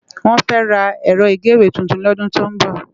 Wòn fè rá èrò igéwé tútún lòdún tó n bò